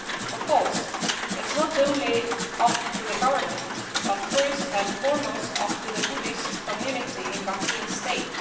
Of course it is not only up to the government, but first and foremost up to the Buddhist community in Rakhine State.